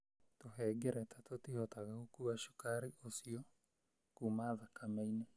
Tũhengereta tũtihotaga gũkuua sukari ĩyo kuuma thakame-inĩ